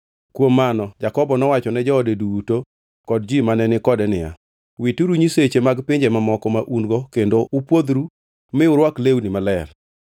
Kuom mano Jakobo nowacho ne joode duto kod ji mane ni kode niya, “Wituru nyiseche mag pinje mamoko ma un-go kendo upwodhru mi urwak lewni maler.